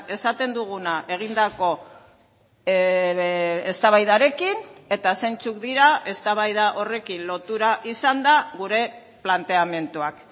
esaten duguna egindako eztabaidarekin eta zeintzuk dira eztabaida horrekin lotura izanda gure planteamenduak